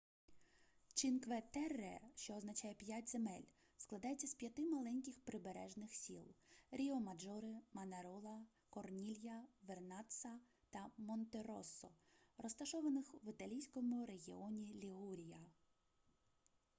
чинкве-терре що означає п'ять земель складається з п'яти маленьких прибережних сіл ріомаджоре манарола корнілья вернацца та монтероссо розташованих в італійському регіоні лігурія